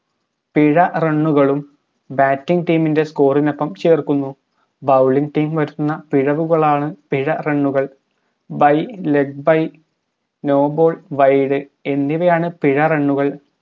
പിഴ run കളും batting team ൻറെ score നൊപ്പം ചേർക്കുന്നു bowling team വരുത്തുന്ന പിഴവുകളാണ് പിഴ run ഉകൾ by leg by no ballwide എന്നിവയാണ് പിഴ run ഉകൾ